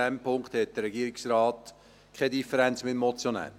In diesem Punkt hat der Regierungsrat keine Differenz mit dem Motionär.